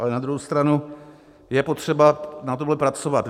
Ale na druhou stranu je potřeba na tomhle pracovat.